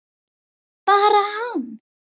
Hann hefði búið þar lengi.